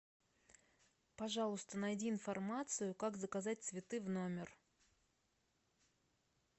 пожалуйста найди информацию как заказать цветы в номер